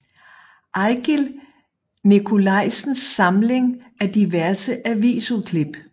Ejgil Nikolajsens Samling af diverse avisudklip